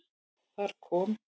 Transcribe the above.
Þar kom